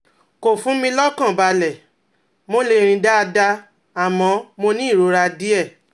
Ko fun mi lokan baale, mole rin dada amo mo ni irora die